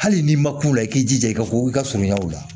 Hali n'i ma ku la i k'i jija i ka ko i ka surunya o la